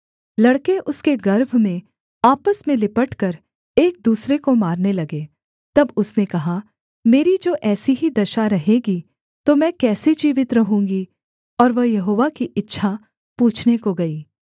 लड़के उसके गर्भ में आपस में लिपटकर एक दूसरे को मारने लगे तब उसने कहा मेरी जो ऐसी ही दशा रहेगी तो मैं कैसे जीवित रहूँगी और वह यहोवा की इच्छा पूछने को गई